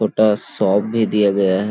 छोटा सोप भी दिया गया हैं।